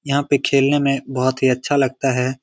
यहां पे खेलने में बहुत ही अच्छा लगता है।